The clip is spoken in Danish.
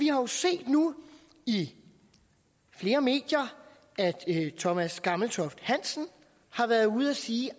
jo set nu i flere medier at thomas gammeltoft hansen har været ude at sige